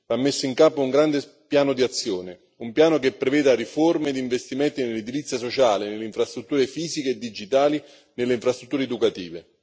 Va messo in campo un grande piano di azione, un piano che preveda riforme di investimenti nell'edilizia sociale, nelle infrastrutture fisiche e digitali e nelle infrastrutture educative.